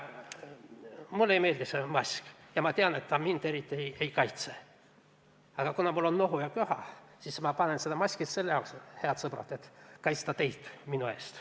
Mulle ei meeldi see mask ja ma tean, et see mind eriti ei kaitse, aga kuna mul on nohu ja köha, siis ma kannan seda, head sõbrad, et kaitsta teid.